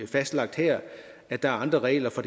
fastlagt her at der er andre regler for